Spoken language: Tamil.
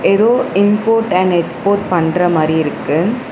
எதோ இம்போர்ட் அண்ட் எக்ஸ்போர்ட் பண்ற மாரி இருக்கு.